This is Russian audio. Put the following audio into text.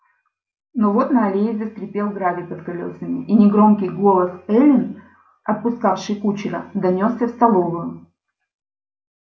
но вот на аллее заскрипел гравий под колёсами и негромкий голос эллин отпускавшей кучера донёсся в столовую